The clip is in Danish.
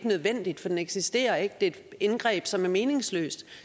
nødvendigt for den eksisterer ikke det er et indgreb som er meningsløst